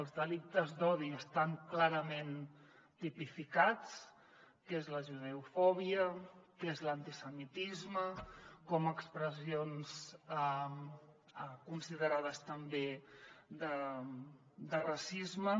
els delictes d’odi estan clarament tipificats què és la judeofòbia què és l’antisemitisme com expressions considerades també de racisme